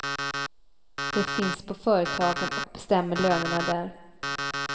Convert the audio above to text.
De finns på företagen och bestämmer lönerna där.